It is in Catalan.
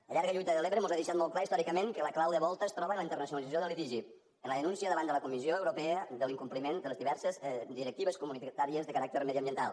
la llarga lluita de l’ebre mos ha deixat molt clar històricament que la clau de volta es troba en la internacionalització del litigi en la denúncia davant la comissió europea de l’incompliment de les diverses directives comunitàries de caràcter mediambiental